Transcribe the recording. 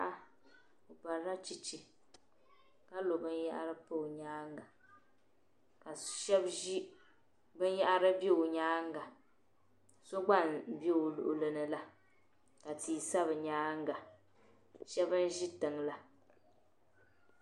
Paɣa obarila cheche kalo binyɛra pa o nyaaŋa ban yahari ze o nyaaŋa so gba m-be o luɣili ni la ka tii sa binyaanga shebi n zi tiŋla